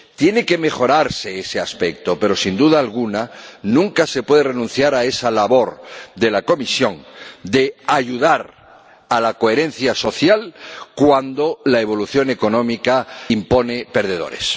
Tiene que mejorarse ese aspecto pero, sin duda alguna, nunca se puede renunciar a esa labor de la Comisión de ayudar a la coherencia social cuando la evolución económica impone perdedores.